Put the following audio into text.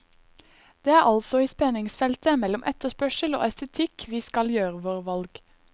Det er altså i spenningsfeltet mellom etterspørsel og estetikk vi skal gjøre våre valg.